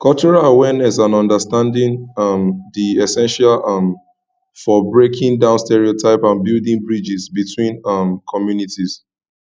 cultural awareness and understanding um dey essential um for breaking down stereotypes and building bridges between um communities